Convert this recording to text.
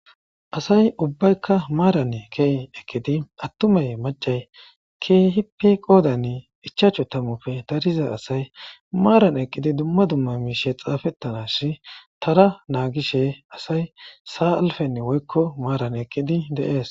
Asay ubbaykka maaran key eqidi attumay macay kehippe qoodan ichaachcho tamufe tariza asay maaran eqqidi dumma dumma miishe xaafettanas tara naagishe asay saa'alfenni woykko maaran eqqidi deees.